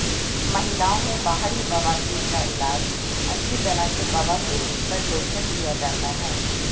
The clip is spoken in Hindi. महिलाओं में बाहरी बवासीर का इलाज अच्छी तरह से बवासीर पर लोशन किया जाता है